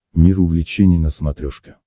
мир увлечений на смотрешке